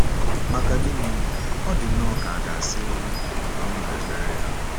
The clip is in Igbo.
Maka gịnị, ọ dị nnọọ ka a ga-asị na ọ nụrụ ekpere ya!